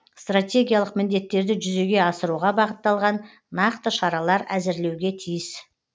стратегиялық міндеттерді жүзеге асыруға бағытталған нақты шаралар әзірлеуге тиіс